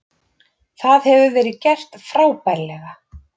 Það hefur verið gert frábærlega.